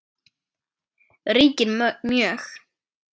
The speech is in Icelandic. ríkir mjög.